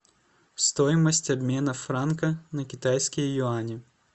стоимость обмена франка на китайские юани